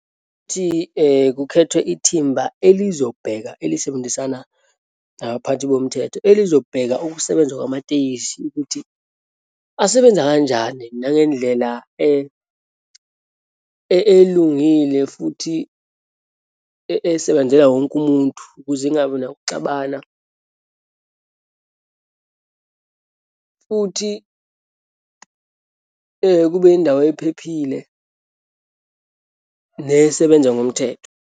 Ukuthi kukhethwe ithimba elizobheka, elisebenzisana nabaphathi bomthetho, elizobheka ukusebenza kwamatekisi ukuthi asebenza kanjani, nangendlela elungile futhi esebenzela wonke umuntu, ukuze kungabi nakuxabana futhi kube indawo ephephile nesebenza ngomthetho.